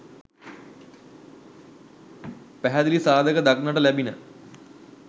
පැහැදිලි සාධක දක්නට ලැබිණ